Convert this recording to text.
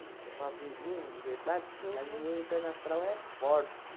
Que eu faço em junho o aniversário, mas o meu inferno astral é forte.